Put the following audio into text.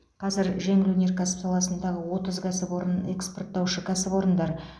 қазір жеңіл өнеркәсіп саласындағы отыз кәсіпорын экспортаушы кәсіпорындар